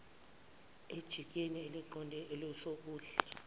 ejikeni eliqonde kwesokudla